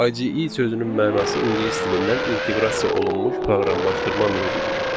IDE sözünün mənası ingilis dilindən inteqrasiya olunmuş proqramlaşdırma mühitidir.